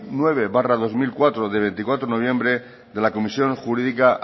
nueve barra dos mil cuatro de veinticuatro de noviembre de la comisión jurídica